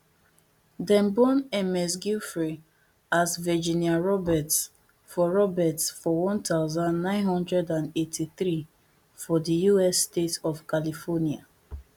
dem born ms giuffre as virginia roberts for roberts for one thousand, nine hundred and eighty-three for di us state of california